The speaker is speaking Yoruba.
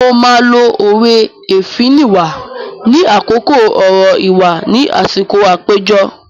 Mo máa lo òwe "Èéfín nìwà" ní àkókò ọ̀rọ̀ ìwà ni àsìkò àpéjọ.